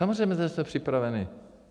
Samozřejmě, že jsme připraveni.